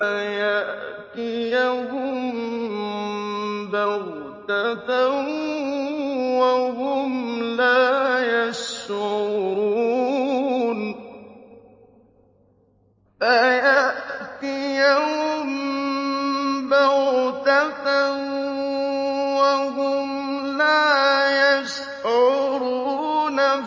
فَيَأْتِيَهُم بَغْتَةً وَهُمْ لَا يَشْعُرُونَ